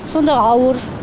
сонда ауыр